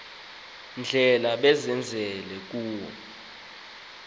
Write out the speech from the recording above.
ndlela bazenzele kuwo